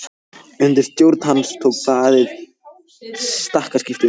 Undir stjórn hans tók blaðið stakkaskiptum.